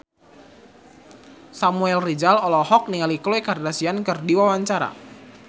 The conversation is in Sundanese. Samuel Rizal olohok ningali Khloe Kardashian keur diwawancara